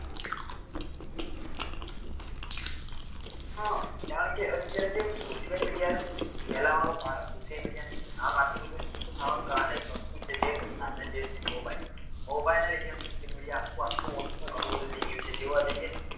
હા કારણ કે એનું અત્યારે જે social media નું ફેલાવવાનું ક કારણ social media ની અંદર નામ આટલું બધું મોટું થવા નું કારણ છે. એ વસ્તુ છે જે સાધન છે. જે આ સાધન mobilemobile ના લીધે આ social media આખું આખું મોટું ઘણું બધું થઇ ગયું છે. જોવા જઈએ તો